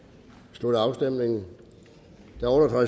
slutter afstemningen